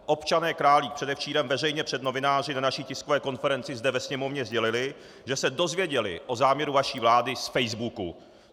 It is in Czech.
Občané Králík předevčírem veřejně před novináři na naší tiskové konferenci zde ve Sněmovně sdělili, že se dozvěděli o záměru vaší vlády z facebooku!